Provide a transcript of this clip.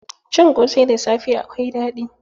Cin ƙosai da safe akwai daɗi.